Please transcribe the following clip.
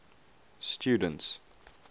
students